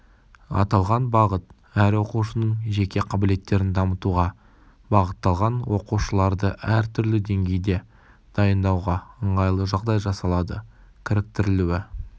аталған бағыт әр оқушының жеке қабілеттерін дамытуға бағытталған оқушыларды әртүрлі деңгейде дайындауға ыңғайлы жағдай жасалады кіріктірілуі